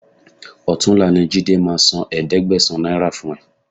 Ọ̀túnla ni Jídé máa san ẹ̀ẹ́dẹ́gbẹ̀sán náírà fún ẹ